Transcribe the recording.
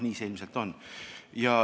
Nii see ilmselt on.